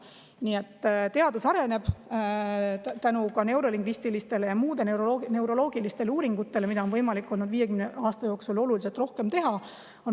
Nii et teadus on arenenud tänu neurolingvistilistele ja muudele neuroloogilistele uuringutele, mida on võimalik olnud 50 aasta jooksul oluliselt rohkem teha.